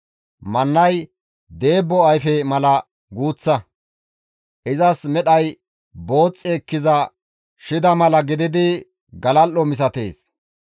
Mannay deebbo ayfe mala guuththa; izas medhay booxxi ekkiza shida mala gididi galal7o misatees.